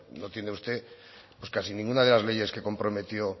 no tiene usted pues casi ninguna de las leyes que comprometió